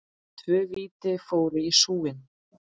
Tvö víti fóru í súginn.